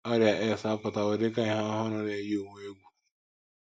Ọrịa AIDS apụtawo dị ka ihe ọhụrụ na - eyi ụwa egwu.